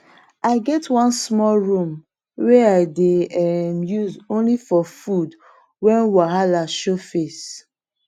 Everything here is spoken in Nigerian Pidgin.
i get one small room wey i dey um use only for food when wahala show face